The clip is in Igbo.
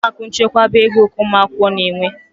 Ụlọakụ nchekwaba ego ka ụmụakwụkwọ na-enwe.